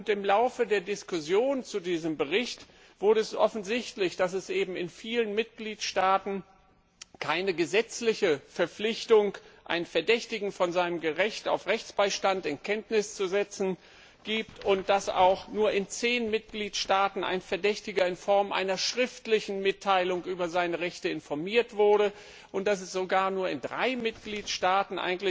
Im Laufe der Diskussionen zu diesem Bericht wurde es offensichtlich, dass es in vielen Mitgliedstaaten keine gesetzliche Verpflichtung, einen Verdächtigen von seinem Recht auf Rechtsbeistand in Kenntnis zu setzen, gibt und dass auch nur in zehn Mitgliedstaaten ein Verdächtiger in Form einer schriftlichen Mitteilung über seine Rechte informiert wurde und dass es sogar in drei Mitgliedstaaten